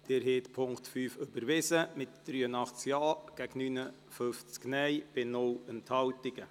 Sie haben den Punkt 5 überwiesen mit 83 Ja- gegen 59-Stimmen bei keiner Enthaltung.